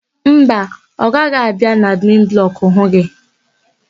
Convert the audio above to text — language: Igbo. Mba, ọ gaghị abịa n'admin blọkụ hụ gị.